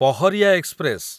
Paharia express